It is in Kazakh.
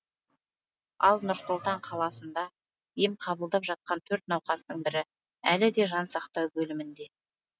ал нұр сұлтан қаласында ем қабылдап жатқан төрт науқастың бірі әлі де жан сақтау бөлімінде